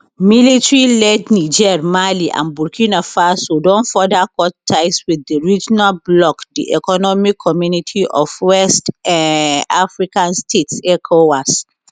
military led niger mali and burkina faso don further cut ties with di regional bloc di economic community of west um african states ecowas